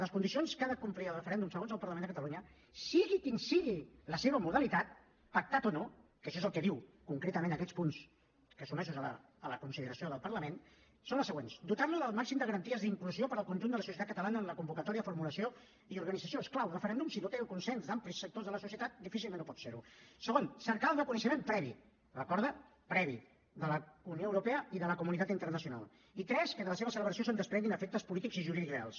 les condicions que ha de complir el referèndum segons el parlament de catalunya sigui quina sigui la seva modalitat pactat o no que això és el que diuen concretament aquests punts sotmesos a la consideració del parlament són les següents dotar lo del màxim de garanties d’inclusió per al conjunt de la societat catalana en la convocatòria de formulació i organització és clar un referèndum si no té el consens d’amplis sectors de la societat difícilment pot ser ho segon cercar el reconeixement previ ho recorda de la unió europea i de la comunitat internacional i tres que de la seva celebració se’n desprenguin efectes polítics i jurídics reals